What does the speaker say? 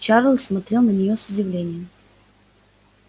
чарлз смотрел на неё с удивлением